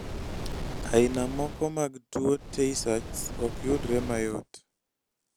aina moko mag tuwo tay sachs okyudre mayot